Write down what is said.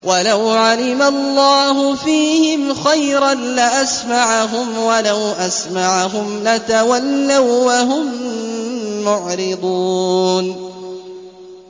وَلَوْ عَلِمَ اللَّهُ فِيهِمْ خَيْرًا لَّأَسْمَعَهُمْ ۖ وَلَوْ أَسْمَعَهُمْ لَتَوَلَّوا وَّهُم مُّعْرِضُونَ